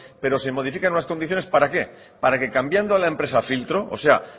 pero se modifican unas condiciones para qué para que cambiando la empresa filtro o sea